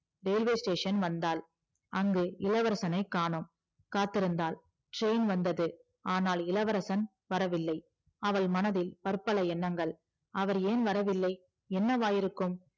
railway station வந்தாள் அங்கு இளவரசனை காணும் காத்திருந்தாள் train வந்தது ஆனால் இளவரசன் வரவில்லை அவள் மனதில் பற்பல எண்ணங்கள் அவர் ஏன் வரவில்லை என்னவாயிருக்கும்